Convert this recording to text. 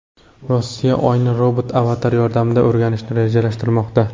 Rossiya Oyni robot-avatarlar yordamida o‘rganishni rejalashtirmoqda.